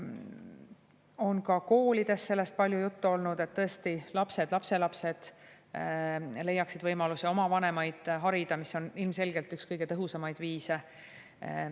Sellest on ka koolides palju juttu olnud, et tõesti lapsed, lapselapsed leiaksid võimaluse oma vanemaid harida, mis on ilmselgelt üks kõige tõhusamaid viise.